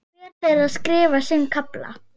Hver þeirra skrifar sinn kafla.